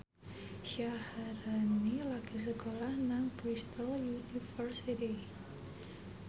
Syaharani lagi sekolah nang Bristol university